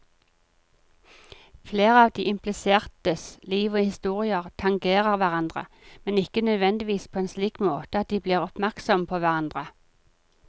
Flere av de implisertes liv og historier tangerer hverandre, men ikke nødvendigvis på en slik måte at de blir oppmerksomme på hverandre.